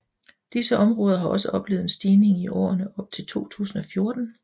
Disse områder har også oplevet en stigning i årene op til 2014